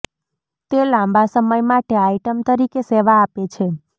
તે લાંબા સમય માટે આઇટમ તરીકે સેવા આપે છે